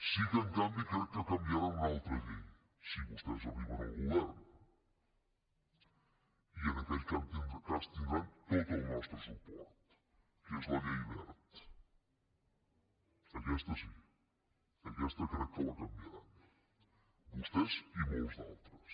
sí que en canvi crec que canviaran una altra llei si vostès arriben al govern i en aquell cas tindran tot el nostre suport que és la llei wert aquesta sí aquesta crec que la canviaran vostès i molts d’altres